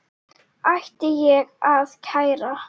Ætti ég að kæra?